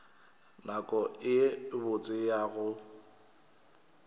nako ye botse ya go